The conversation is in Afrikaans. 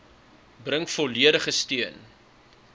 bring volledige steun